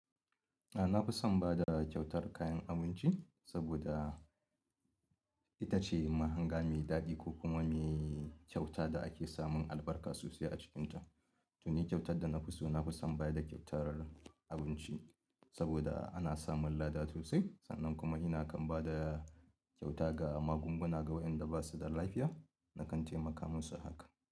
A na fi son ba da kyautar kayan abinci saboda ita ce mahanga mai daɗi ko kuma mai kyauta da ake samun albarka sosai a cikinta. To ni kyautar da na fi so, na fi son ba da kyautar abinci saboda ana samun lada sosai sannan kuma ina kan ba da kyauta ga magunguna ga waɗanda ba su da lafiya na kan taimaka musu haka.